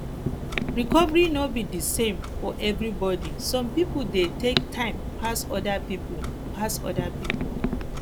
recovery no be di same for everybody some pipo dey take time pas oda pipo pas oda pipo